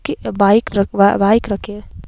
की बाइक र बाइक रखे--